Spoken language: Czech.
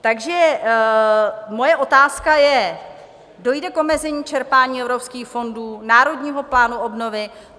Takže moje otázka je: Dojde k omezení čerpání evropských fondů, Národního fondu obnovy?